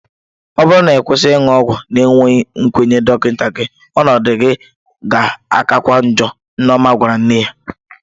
Ọ bụrụ na ị kwụsị ịṅụ ọgwụ na-enweghị nkwenye dọkịta gị, ọnọdụ gị ga-akakwa ọọjọ, Nneoma gwara nne ya.